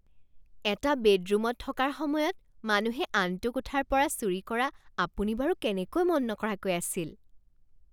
এটা বেডৰুমত থকাৰ সময়ত মানুহে আনটো কোঠাৰ পৰা চুৰি কৰা আপুনি বাৰু কেনেকৈ মন নকৰাকৈ আছিল?